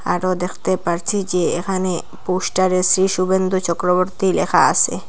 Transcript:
আরো দ্যাখতে পারছি যে এখানে পোস্টারে শ্রী শুভেন্দু চক্রবর্তী লেখা আসে।